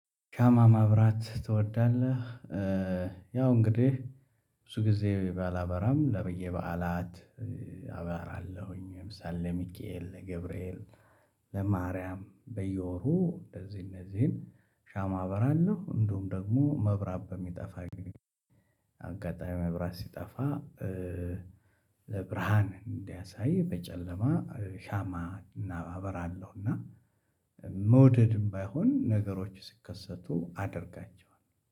ሻማ ማብራት ትወዳለህ? ያው እንግዲህ ብዙ ጊዜ ባላበራም ለብዬ በዓላት አበራለሁኝ ለምሳሌ ለሚካኤል ለገብርኤል ለማርያም በየወሩ እንደዚህ እነዚህን ሻማ አበራለሁ። እንዲሁም ደግሞ መብራት በሚጠፋ አጋጣሚ መብራት ሲጠፋ ለብርሃን እንዲያሳይ በጨለማ ሻማ እናበራለሁ። እና መውደድም ባይሆን ነገሮች ሲከሰቱ አደርጋቸዋለሁ።